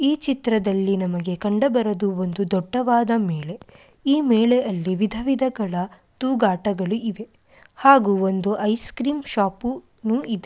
ಈ ಚಿತ್ರದಲ್ಲಿ ನಮಗೆ ಕಂಡುಬರುವುದು ಒಂದು ದೊಡ್ಡವಾದ ಮೇಳೆ. ಈ ಮೇಲೆ ಎಲ್ಲಿ ವಿಧ ವಿಧಗಳ ತೂಗಾಟಗಳು ಇದೆ ಹಾಗೂ ಒಂದು ಐಸ್ ಕ್ರೀಮ್ ಶಾಪು ಇದೆ.